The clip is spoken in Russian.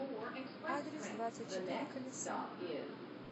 адрес двадцатьчетыреколеса